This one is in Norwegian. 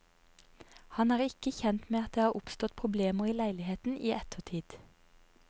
Han er ikke kjent med at det har oppstått problemer i leiligheten i ettertid.